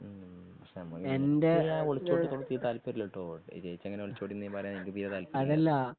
ഉം എനിക്ക് ഒളിച്ചോട്ടതോടെ യാതൊരു താല്പര്യമില്ലാട്ടോ ചേച്ചി അങ്ങനെ ഒളിച്ചോടിന്നു പറയാൻ എനിക്ക് തീരെ താല്പര്യമില്ല